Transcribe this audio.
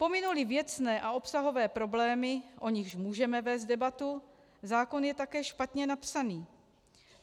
Pominu-li věcné a obsahové problémy, o nichž můžeme vést debatu, zákon je také špatně napsaný.